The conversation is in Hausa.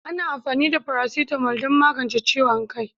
Ana amfani da paracetamol don magance ciwon kai.